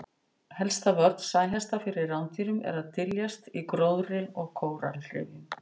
Helsta vörn sæhesta fyrir rándýrum er að dyljast í gróðri og kóralrifjum.